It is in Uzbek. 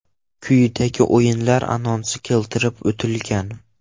Quyida o‘yinlar anonsi keltirib o‘tilgan.